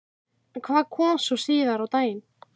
En hvað kom svo síðar á daginn?